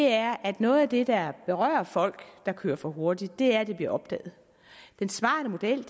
er at noget af det der berører folk der kører for hurtigt er at det bliver opdaget den smarte model